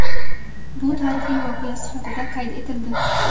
Bu tarixiy voqea sifatida qayd etildi.